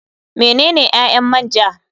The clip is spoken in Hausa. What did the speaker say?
Menene ƴaƴan man ja.